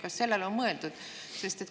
Kas sellele on mõeldud?